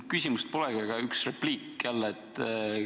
Küsimust polegi, üks repliik jälle.